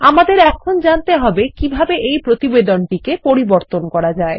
আমাদেরএখন জানতে হবে কিভাবে এই প্রতিবেদনটি পরিবর্তন করা যায়